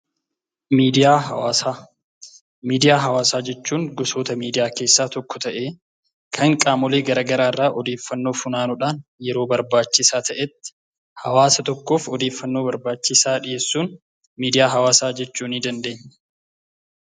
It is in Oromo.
Miidiyaa hawaasaa, miidiyaa hawaasaa jechuun gosoota miidiyaa keessaa tokko ta'ee kan qaamolee garaa garaa irraa odeeffannoo funaanuudhaan yeroo barbaachisaa ta'etti hawaasa tokkoof odeeffannoo barbaachisaa dhiyeessuun miidiyaa hawaasaa jechuu nii dandeenya.